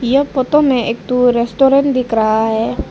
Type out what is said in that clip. यह फोटो में एक ठो रेस्टोरेंट दिख रहा है।